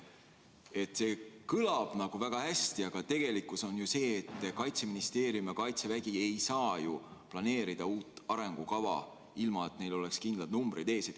See jutt kõlab väga hästi, aga tegelikkus on ju see, et Kaitseministeerium ja Kaitsevägi ei saa planeerida uut arengukava, ilma et neil oleks kindlad numbrid ees.